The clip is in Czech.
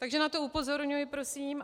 Takže na to upozorňuji prosím.